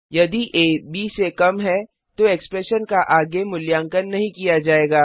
यदि आ b से कम है तो एक्सप्रेशन का आगे मूल्यांकन नहीं किया जाएगा